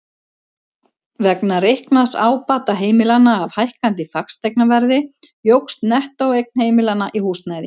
Vegna reiknaðs ábata heimilanna af hækkandi fasteignaverði jókst nettóeign heimilanna í húsnæði.